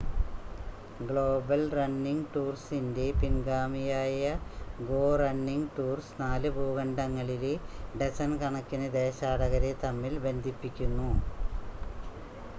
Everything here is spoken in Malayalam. ഗ്ലോബൽ റണ്ണിംഗ് ടൂർസിൻ്റെ പിൻഗാമിയായ ഗോ റണ്ണിംഗ് ടൂർസ് നാല് ഭൂഖണ്ഡങ്ങളിലെ ഡസൻ കണക്കിന് ദേശാടകരെ തമ്മിൽ ബന്ധിപ്പിക്കുന്നു